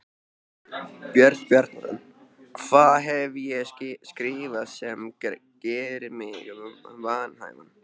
Björn Bjarnason: Hvað hef ég skrifað sem gerir mig vanhæfan?